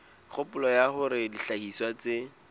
kgopolo ya hore dihlahiswa tse